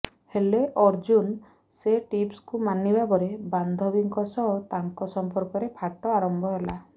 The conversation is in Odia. ହେଲେ ଅର୍ଜୁନ ସେ ଟିପ୍ସକୁ ମାନିବା ପରେ ବାନ୍ଧବୀଙ୍କ ସହ ତାଙ୍କ ସମ୍ପର୍କରେ ଫାଟ ଆରମ୍ଭ ହେଲା